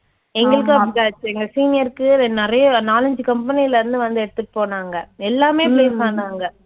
எங்களுக்கும் அப்படிதான் ஆச்சு. எங்க senior க்கு நிறைய நாலைந்து company ல இருந்து வந்து எடுத்துட்டு போனாங்க, எல்லாமே place ஆனாங்க